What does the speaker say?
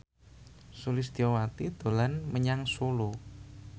Sulistyowati dolan menyang Solo